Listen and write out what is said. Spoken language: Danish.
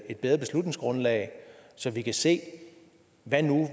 et bedre beslutningsgrundlag så vi kan se hvad